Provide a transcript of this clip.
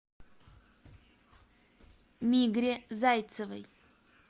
мигре зайцевой